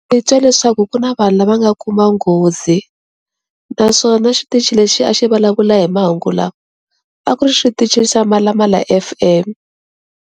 Ni twa leswaku ku na vanhu lava nga kuma nghozi naswona xitichi lexi a xi vulavula hi mahungu lama a ku ri xitichi xa Mhalamhala F_M.